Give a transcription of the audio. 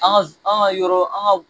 An ka an ka yɔrɔ an ka